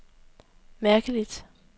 mærkeligt